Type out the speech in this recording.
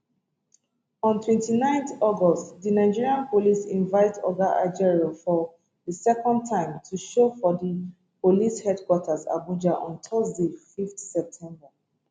on 29 august di nigeria police invite oga ajaero for di second time to show for di police headquarter abuja on thursday 5 september